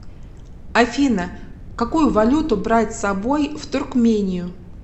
афина какую валюту брать с собой в туркмению